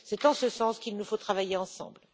C'est en ce sens qu'il nous faut travailler ensemble.